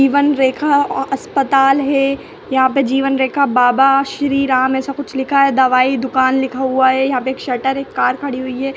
जीवन रेखा आस्पताल है यहाँ पे जीवन रेखा बाबा श्री राम ऐसा कुछ लिखा है दवाई दुकान लिखा हुआ है यहाँ पे एक शटर एक कार खड़ी हुई है।